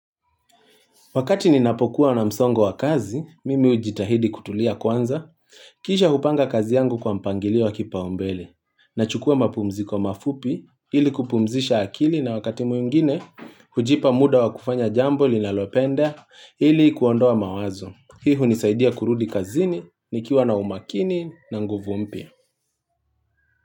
Wakati ninapokuwa na msongo wa kazi, mimi hujitahidi kutulia kwanza, kisha hupanga kazi yangu kwa mpangilio wa kipao mbele, nachukua mapumziko mafupi, ili kupumzisha akili na wakati mwingine, hujipa muda wa kufanya jambo linalopenda, ili kuondoa mawazo. Hii hunisaidia kurudi kazini, nikiwa na umakini na nguvu mpya.